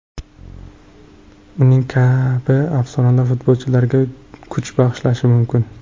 Uning kabi afsonalar futbolchilarga kuch bag‘ishlashi mumkin.